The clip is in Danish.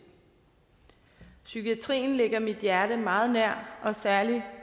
psykiatrien ligger mit hjerte meget nær og særlig i